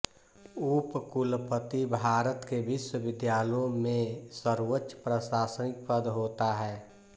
उपकुलपति भारत के विश्वविद्यालयों में सर्वोच्च प्रशासनिक पद होता है